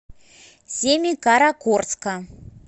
семикаракорска